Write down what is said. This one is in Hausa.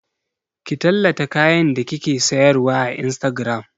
Ki tallata kayan da kike sayarwa a Instagram!